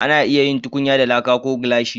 A na iya yin tukunya da laƙa ko gilashi